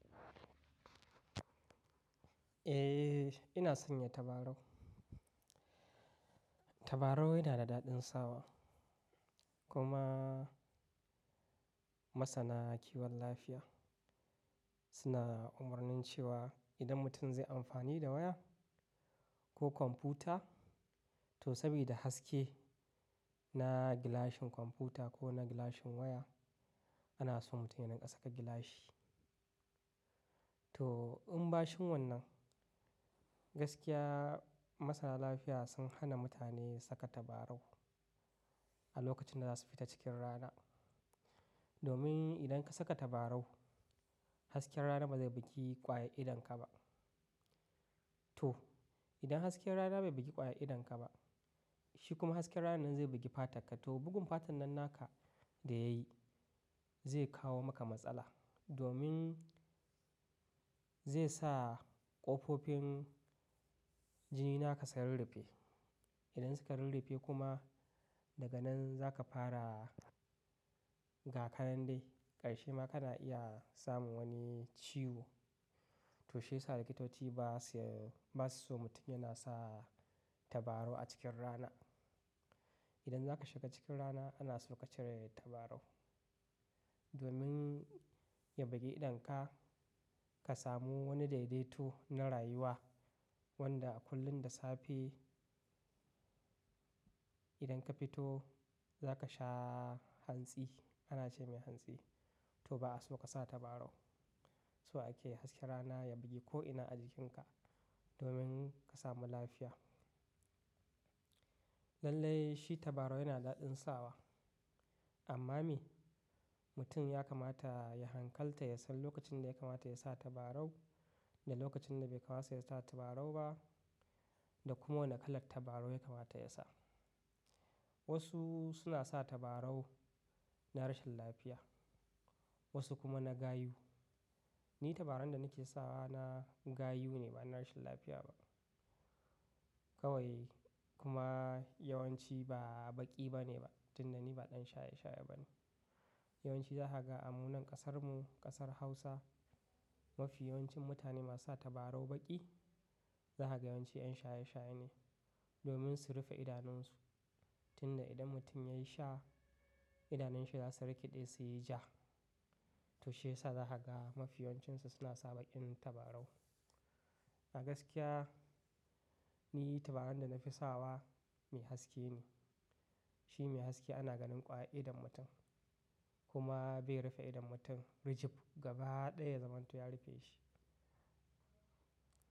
Eh, ina sanya tabarau. Tabarau yana da daɗin sawa. Kuma masana kiwon lafiya suna umarnin cewa idan mutum zai amfani da waya ko kwamfuta, to sabida haske na gilashin kwamfuta ko na gilashin waya, ana son mutum ya rika saka gilashi. To, in ba shin wannan gaskiya masana lafiya sun hana mutane saka tabarau a lokacin da za su fita cikin rana. Domin idan ka saka tabarau, hasken rana ba zai bugi kwaya idonka ba. To, idan hasken rana bai bugi kwaya idonka ba, shi kuma hasken ranan ne zai bugi fatarka. To, bugun fatan nan naka da ya yi zai kawo maka matsala. Domin zai sa ƙofofin jini naka su rirriffe. Idan suka rirriffe kuma daga nan za ka fara ga kanan dai, ƙarshe ma kana iya samun wani ciwo. To shiyasa likitoci ba su, ba su son mutum yana sa tabarau a cikin rana. Idan za ka shiga cikin rana, ana so ka cire tabarau. Domin ya bugi idonka, ka samu wani daidaito na rayuwa wanda a kullum da safe idan ka fito za ka sha hantsi. Ana ce mai hantsi. To ba'a so ka sa tabarau. So ake hasken rana ya bugi ko'ina a jikinka domin ka samu lafiya. Lallai shi tabarau yana da daɗin sawa. Amma me? Mutum ya kamata ya hankalta ya san lokacin da ya kamata ya sa tabarau da lokacin da bai kamata ya sa tabarau ba da kuma wane kala tabarau ya kamata ya sa. Wasu suna sa tabarau na rashin lafiya, wasu kuma na gayu. Ni tabarau da nake sawa na gayu ne bana rashin lafiya ba. Kawai kuma yawanci ba baki bane ba. Tunda ni ba ɗan shaye-shaye bane. Yawanci zahaga a munan ƙasarmu, ƙasar Hausa, mafi yawancin mutane masu sa tabarau baki zahaga yawanci 'yan shaye-shaye ne. Domin su rufe idanunsu. Tunda idan mutum ya yi sha, idanunshi za su rikiɗe su yi ja. To shiyasa zahaga mafi yawan cinsu suna sa baƙin tabarau. A gaskiya ni tabarau da nafi sawa mai haske ne. Shi mai haske ana ganin kwaye idon mutum. Kuma bai rufe idon mutum rijif gaba ɗaya zamanto ya rufe shi.